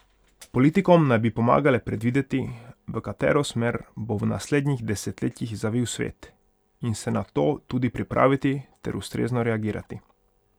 Politikom naj bi pomagale predvideti, v katero smer bo v naslednjih desetletjih zavil svet, in se na to tudi pripraviti ter ustrezno reagirati.